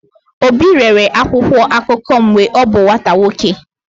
Obi rere akwụkwọ akụkọ mgbe ọ bụ nwata nwoke.